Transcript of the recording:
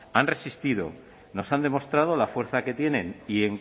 han resistido nos han demostrado la fuerza que tienen y